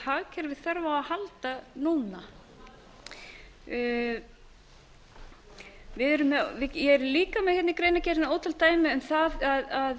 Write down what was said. hagkerfið þarf á að halda núna ég er líka með í greinargerðinni ótal dæmi um það